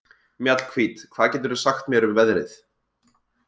Mjallhvít, hvað geturðu sagt mér um veðrið?